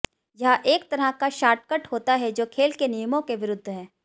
यह एक तरह का शार्टकट होता है जो खेल के नियमों के विरुद्ध है